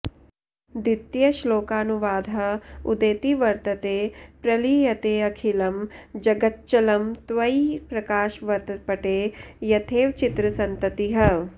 द्वितीयश्लोकानुवादः उदेति वर्तते प्रलीयतेऽखिलं जगच्चलं त्वयि प्रकाशवत्पटे यथैव चित्रसन्ततिः